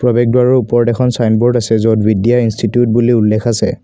প্ৰৱেশ দুৱাৰৰ ওপৰত এখন চাইনবোৰ্ড আছে য'ত বিদ্যা ইন্সটিটিউট বুলি উল্লেখ আছে।